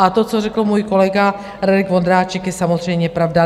A to, co řekl můj kolega Radek Vondráček, je samozřejmě pravda.